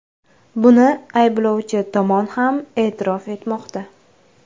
Buni ayblovchi tomon ham e’tirof etmoqda.